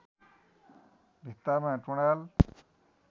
भित्तामा टुँडाल